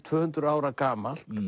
tvö hundruð ára gamalt